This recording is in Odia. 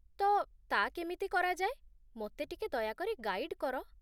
ତ, ତା' କେମିତି କରାଯାଏ, ମୋତେ ଟିକେ ଦୟାକରି ଗାଇଡ଼୍ କର।